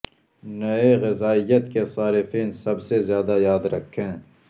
نئے غذائیت کے صارفین سب سے زیادہ یاد رکھیں